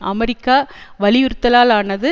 America வலியுறுத்தலானது